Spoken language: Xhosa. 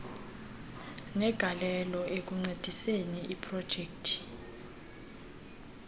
negalelo ekuncediseni iprojekthi